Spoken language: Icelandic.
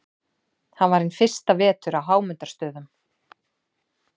Hann var hinn fyrsta vetur á Hámundarstöðum.